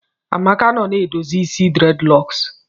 Amaka nọ na edozi isi dreadlocks